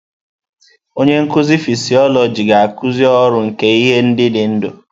Onye nkuzi fịsiolojị ga-akuzi ọrụ nke ihe dị ndụ.